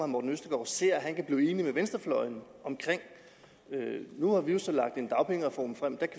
morten østergaard ser at han kan blive enig med venstrefløjen om nu har vi jo så lagt en dagpengereform frem den